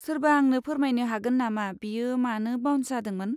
सोरबा आंनो फोरमायनो हागोन नामा बियो मानो बाउन्स जादोंमोन?